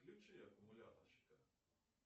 включи аккумуляторщика